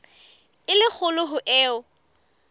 e le kgolo ho eo